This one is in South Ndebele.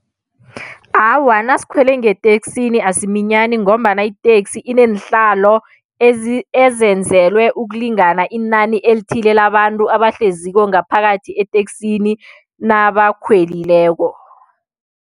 Awa nasikhwele ngeteksini asiminyani ngombana iteksi ineenhlalo ezenzelwe ukulingana inani elithile labantu abahleziko ngaphakathi eteksini nabakhwelileko.